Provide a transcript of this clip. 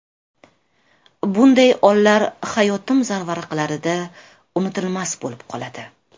Bunday onlar hayotim zarvaraqlarida unutilmas bo‘lib qoladi.